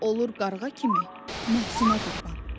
Olur qarğa kimi nəfsinə qurban.